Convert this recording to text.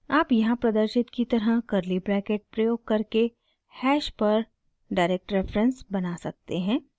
आप यहाँ प्रदर्शित की तरह कर्ली ब्रैकेट {} प्रयोग करके हैश पर direct reference बना सकते हैं